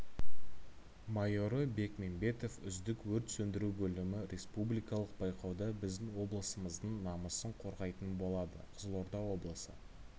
майоры бекмембетов үздік өрт сөндіру бөлімі республикалық байқауда біздің облысымыздың намысын қорғайтын болады қызылорда облысы